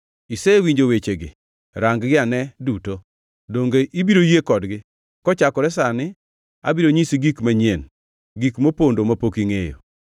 Isewinjo wechegi, rang-gi ane duto. Donge ibiro yie kodgi? “Kochakore sani abiro nyisi gik manyien, gik mopondo mapok ingʼeyo.